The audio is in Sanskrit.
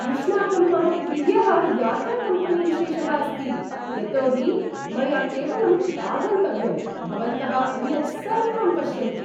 युष्माकं मम प्रियः यात्राकम्पेनीविशेषः अस्ति, यतोहि मया केवलम् आगन्तव्यम्, भवन्तः अन्यत् सर्वं पश्यन्ति।